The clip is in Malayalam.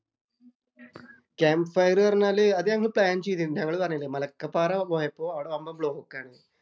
ക്യാംമ്പ് ഫയര്‍ എന്ന് പറഞ്ഞാല് അത് ഞങ്ങള് പ്ലാന്‍ ചെയ്തിരുന്നു. ഞങ്ങള് പറഞ്ഞില്ലേ മലക്കപ്പാറ പോയപ്പോള്‍ അവിടെ വമ്പന്‍ ബ്ലോക്ക് ആണ്.